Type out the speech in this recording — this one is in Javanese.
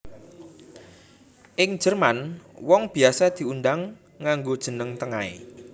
Ing Jerman wong biasa diundang nganggo jeneng tengahé